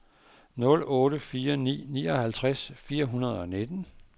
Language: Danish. nul otte fire ni nioghalvtreds fire hundrede og nitten